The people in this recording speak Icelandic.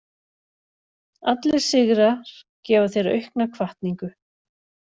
Allir sigrar gefa þér auka hvatningu.